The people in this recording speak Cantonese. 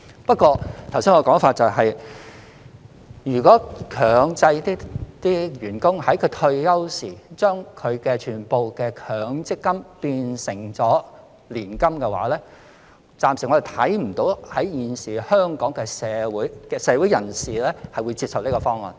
不過，我剛才的說法是，如果強制員工在退休時須把全部強積金變成年金，我暫時看不到現時香港社會人士會接受這項方案。